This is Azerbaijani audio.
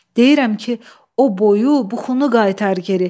Deyirəm ki, o boyu, buxunu qaytar geri.